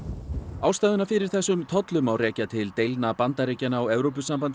ástæðuna fyrir þessum tollum má rekja til deilna Bandaríkjanna og Evrópusambandsins